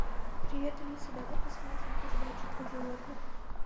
привет алиса давай посмотрим передачу про животных